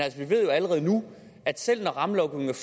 vi ved allerede nu at selv når rammelovgivningen